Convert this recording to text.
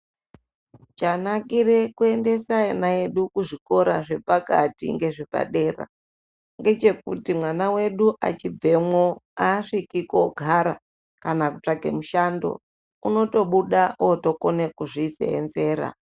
Chanakire kuendese ana edu kuzvikora zvepakati ngezvepadera, ngechekuti mwana wedu achibvemwo, aasviki kogara, kana kutsvake mushando, unotobuda otokone kuzviseenzera.